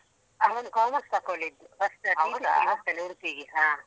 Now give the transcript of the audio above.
ಅವನು commerce ತೊಕೊಂಡಿದ್ದು. First PUC ಗೆ ಹೋಗ್ತಾನೆ ಉಡುಪಿಗೆ.